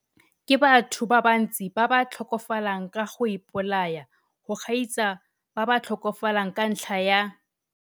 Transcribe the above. Ke batho ba bantsi ba ba tlhokafalang ka go ipolaya go gaisa ba ba tlhokafalang ka ntlha ya